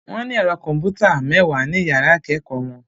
Wọ́n ní ẹ̀rọ kọ̀m̀pútà mẹ́wàá ní yàrá ìkẹ́kọ̀ọ́ wọn.